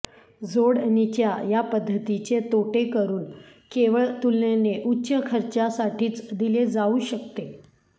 जोडणीच्या या पद्धतीचे तोटे करून केवळ तुलनेने उच्च खर्चासाठीच दिले जाऊ शकते